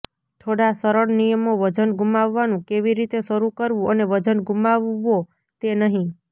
થોડા સરળ નિયમો વજન ગુમાવવાનું કેવી રીતે શરૂ કરવું અને વજન ગુમાવવો તે નહીં